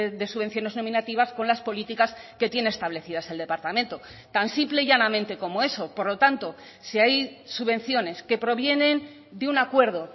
de subvenciones nominativas con las políticas que tiene establecidas el departamento tan simple y llanamente como eso por lo tanto si hay subvenciones que provienen de un acuerdo